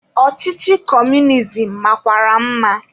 Ọchịchị kọmunizim makwara mma.